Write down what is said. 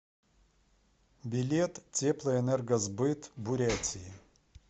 билет теплоэнергосбыт бурятии